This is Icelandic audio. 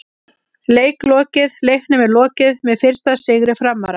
Leik lokið: Leiknum er lokið með fyrsta sigri Framara!!